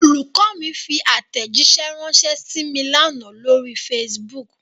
Olùkọ́ mi fi àtẹ̀jíṣẹ̀ ránṣẹ́ sí mí l'ánà lórí Facebook.